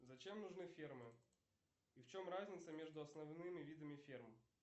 зачем нужны фермы и в чем разница между основными видами ферм